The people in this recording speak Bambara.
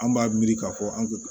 An b'a miiri k'a fɔ an